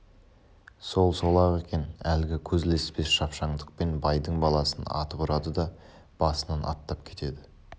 сол сол-ақ екен әлгі көз ілеспес шап- шаңдықпен байдың баласын атып ұрады да басынан аттап кетеді